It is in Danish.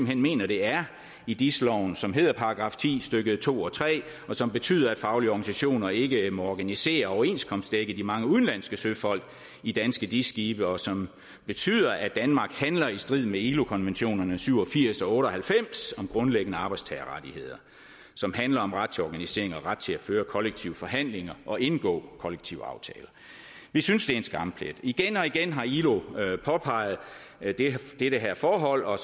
hen mener det er i dis loven som hedder § ti stykke to og tre som betyder at faglige organisationer ikke må organisere og overenskomstdække de mange udenlandske søfolk i danske dis skibe og som betyder at danmark handler i strid med ilo konventionerne nummer syv og firs og otte og halvfems om grundlæggende arbejdstagerrettigheder som handler om ret til organisering og ret til at føre kollektive forhandlinger og indgå kollektive aftaler vi synes det er en skamplet igen og igen har ilo påpeget det her forhold og